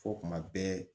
Fɔ kuma bɛɛ